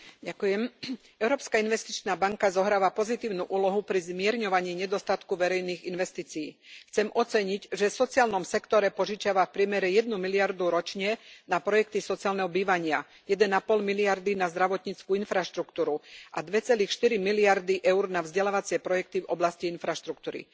Pán predsedajúci, Európska investičná banka zohráva pozitívnu úlohu pri zmierňovaní nedostatku verejných investícií. Chcem oceniť, že v sociálnom sektore požičiava v priemere 1 miliardu ročne na projekty sociálneho bývania, 1,5 miliardy na zdravotnícku infraštruktúru a 2,4 miliardy eur na vzdelávacie projekty v oblasti infraštruktúry.